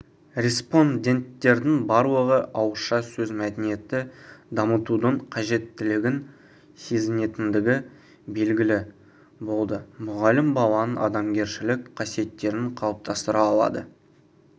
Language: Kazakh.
респонденттердің барлығы ауызша сөз мәдениетін дамытудың қажеттілігін сезінетіндігі белгілі болды мұғалім баланың адамгершілігік қасиеттерін қалыптастыра алады